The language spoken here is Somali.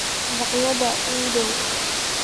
makhaayadaha ii dhow